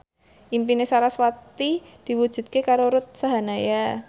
impine sarasvati diwujudke karo Ruth Sahanaya